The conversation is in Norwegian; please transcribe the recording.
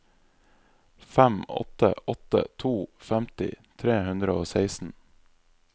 fem åtte åtte to femti tre hundre og seksten